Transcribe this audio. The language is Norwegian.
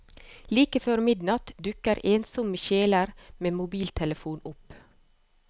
Like før midnatt dukker ensomme sjeler med mobiltelefon opp.